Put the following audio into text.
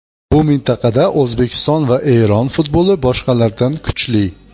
Bu mintaqada O‘zbekiston va Eron futboli boshqalardan kuchli.